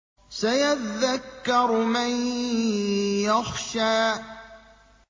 سَيَذَّكَّرُ مَن يَخْشَىٰ